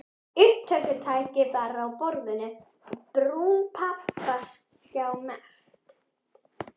Upptökutæki var á borðinu og brún pappaaskja merkt